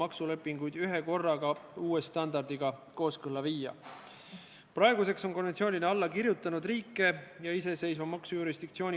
Aga eelnõuga me taotleme raudteeveo-ettevõtjale erandit põhjusel, et raudteel ei ole veel lõppenud suuremahulised ümberkorraldustööd.